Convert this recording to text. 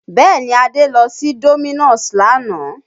Bẹ́ẹ̀ni, Adé lọ sí Domino's lánàá